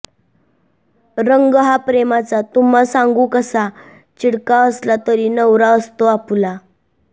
रंग हा प्रेमाचा तुम्हा सांगू कसा चिडका असला तरी नवरा असतो आपुला